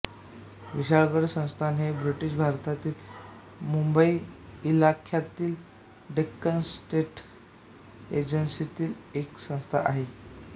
विशाळगड संस्थान हे ब्रिटिश भारतातील मुंबई इलाख्यातील डेक्कन स्टेट्स एजन्सीतील एक संस्थान आहे